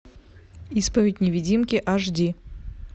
исповедь невидимки аш ди